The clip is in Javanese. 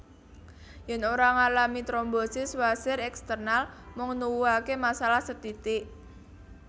Yen ora ngalami trombosis wasir eksternal mung nuwuhake masalah sethithik